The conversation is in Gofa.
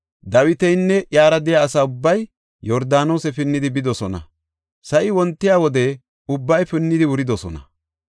Dawitinne iyara de7iya asa ubbay Yordaanose pinnidi bidosona. Sa7i wontiya wode ubbay pinnidi wuridosona.